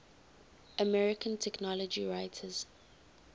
american technology writers